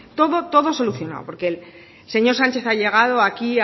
todo todo solucionado porque el señor sánchez ha llegado aquí